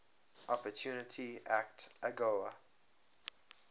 opportunity act agoa